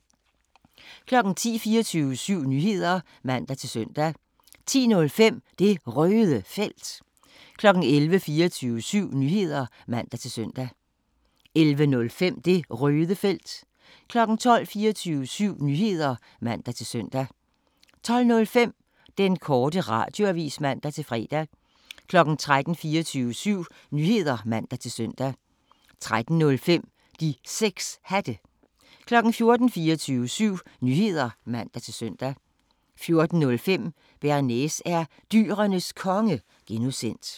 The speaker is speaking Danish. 10:00: 24syv Nyheder (man-søn) 10:05: Det Røde Felt 11:00: 24syv Nyheder (man-søn) 11:05: Det Røde Felt 12:00: 24syv Nyheder (man-søn) 12:05: Den Korte Radioavis (man-fre) 13:00: 24syv Nyheder (man-søn) 13:05: De 6 Hatte 14:00: 24syv Nyheder (man-søn) 14:05: Bearnaise er Dyrenes Konge (G)